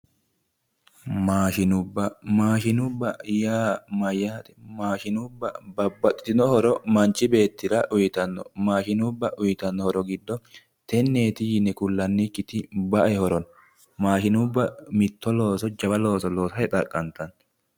Maashinubbu, maashinubba yaa mayyaate? Maashinubba babbaxxitino horo manchu beettira uyitanno. Maashinubba uyitanno horo giddo tenneeti yine kullannikkiti bae horo no. Mashiinubba mitto looso jawa looso loosate xaqqantanno.